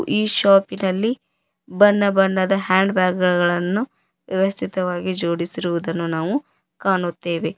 ಈ ಶಾಪಿನಲ್ಲಿ ಬಣ್ಣ ಬಣ್ಣದ ಹ್ಯಾಂಡ್ ಬ್ಯಾಗ್ ಗಳನ್ನು ವ್ಯವಸ್ಥಿತವಾಗಿ ಜೋಡಿಸಿರುವುದನ್ನು ಕಾಣುತ್ತೇವೆ.